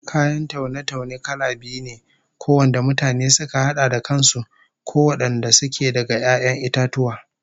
Kayan taune-taune kala biyu ne, ko wanda mutane suka hada da kan su, ko wadanda suke daga 'ya'yan itatuwa